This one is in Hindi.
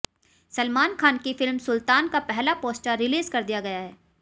सलमान खान की फिल्म सुल्तान का पहला पोस्टर रिलीज कर दिया गया है